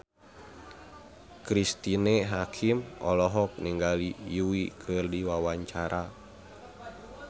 Cristine Hakim olohok ningali Yui keur diwawancara